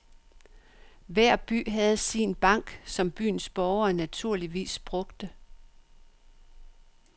Hver by havde sin bank, som byens borgere naturligvis brugte.